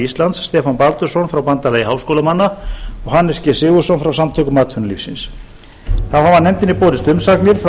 íslands stefán baldursson frá bandalagi háskólamanna og hannes g sigurðsson frá samtökum atvinnulífsins þá hafa nefndinni borist umsagnir frá